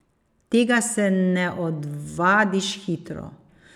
Tega se ne odvadiš hitro.